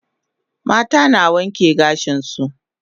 Mata na wanke gashin su